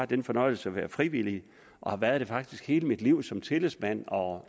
den fornøjelse at være frivillig og har været det faktisk hele mit liv som tillidsmand og